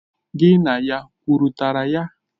Gi na ya kwutara ya?